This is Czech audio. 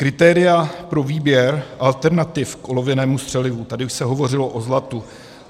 Kritéria pro výběr alternativ k olověnému střelivu - tady už se hovořilo o zlatu.